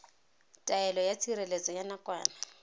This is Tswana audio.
taelo ya tshireletso ya nakwana